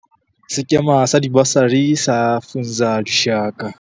Sekema sa Dibasari sa Funza Lushaka.